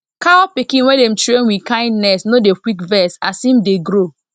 cow pikin wey dem train with kindness no dey quick vex as em dey grow